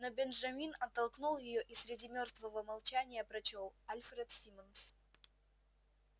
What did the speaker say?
но бенджамин оттолкнул её и среди мёртвого молчания прочёл альфред симмонс